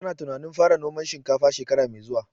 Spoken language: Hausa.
Ta na tunanin fara noman shinkafa shekara mai zuwa